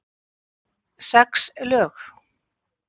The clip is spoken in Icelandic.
Sex lög?